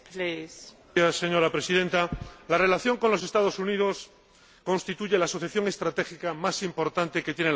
Señora Presidenta, la relación con los Estados Unidos constituye la asociación estratégica más importante que tiene la Unión Europea.